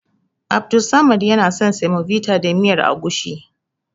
Abdussamad yana son semovita da miyar agushi.